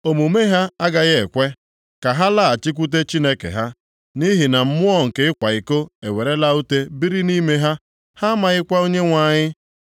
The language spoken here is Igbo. “Omume ha agaghị ekwe ka ha laghachikwute Chineke ha, nʼihi na mmụọ nke ịkwa iko ewerela ute biri nʼime ha, ha amaghịkwa Onyenwe anyị.